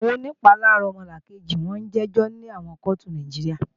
Àwọn onìpalára ọmọnìkejì ó jẹ́jọ́ ní àwọn kóòtù Nàìjíríà